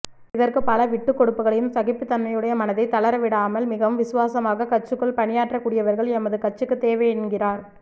இதற்கு பல விட்டுக்கொடுப்புக்களையும் சகிப்புத்தன்மைடைய மனதை தளரவிடாமல் மிகவும் விசுவாசமாக கட்சிக்குள் பணியாற்ற கூடியவர்கள் எமது கட்சிக்கு தேவை என்கிறார்